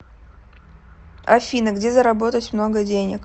афина где заработать много денег